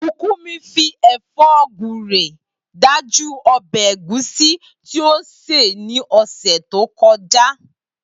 Bùkúnmi fi è̩fó̩ gúre dájú o̩bè̩ ègúsí tí ó sè ní ò̩sè̩ tó ko̩já